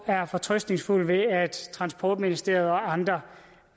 er fortrøstningsfulde med at transportministeriet og andre